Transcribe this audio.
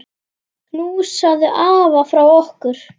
Knúsaðu afa frá okkur.